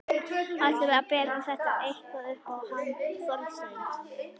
Ætlarðu að bera þetta eitthvað upp á hann Þorstein?